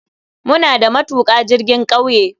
Muna da matuka jirgin kauye.